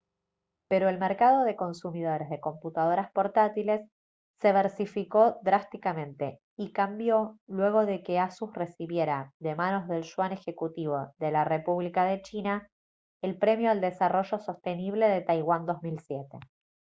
pero el mercado de consumidores de computadoras portátiles se versificó drásticamente y cambió luego de que asus recibiera de manos del yuan ejecutivo de la república de china el premio al desarrollo sostenible de taiwán 2007